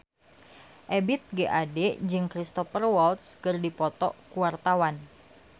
Ebith G. Ade jeung Cristhoper Waltz keur dipoto ku wartawan